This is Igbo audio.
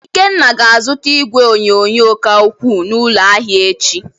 Ikenna ga-azụta igwe onyonyo ka ukwuu n’ụlọ ahịa echi.